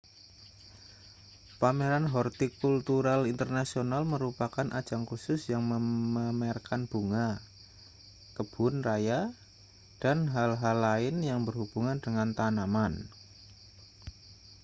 pameran hortikultural internasional merupakan ajang khusus yang memamerkan bunga kebun raya dan hal-hal lain yang berhubungan dengan tanaman